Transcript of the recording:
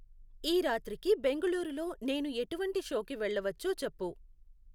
ఈరాత్రికి బెంగళూరులో నేను ఎటువంటి షోకి వెళ్ళవచ్చో చెప్పు